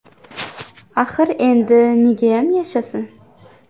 Axir endi negayam yashasin?